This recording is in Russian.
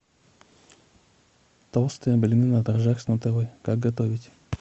толстые блины на дрожжах с нутеллой как готовить